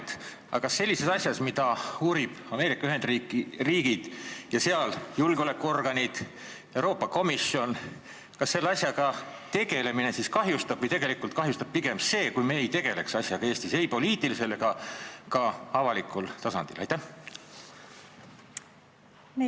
Aga kas kahjustab sellise asjaga tegelemine, mida uurivad Ameerika Ühendriigid ja sealsed julgeolekuorganid ning Euroopa Komisjon, või tegelikult kahjustaks pigem see, kui me selle asjaga Eestis ei poliitilisel ega ka avalikul tasandil ei tegeleks?